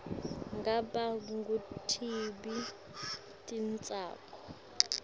ngabe ngutiphi titsako